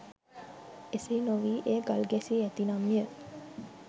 එසේ නොවී එය ගල් ගැසී ඇතිනම්ය.